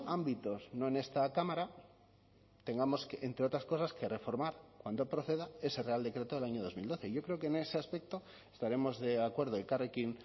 ámbitos no en esta cámara tengamos entre otras cosas que reformar cuando proceda ese real decreto del año dos mil doce yo creo que en ese aspecto estaremos de acuerdo elkarrekin